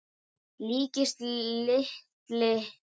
líkist lítilli flugu.